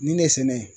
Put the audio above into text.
Nin ne sɛnɛ